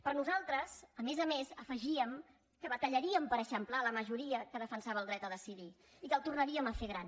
però nosaltres a més a més afe gíem que batallaríem per eixamplar la majoria que defensava el dret a decidir i que el tornaríem a fer gran